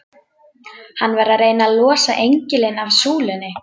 Hann var að reyna að losa engilinn af súlunni!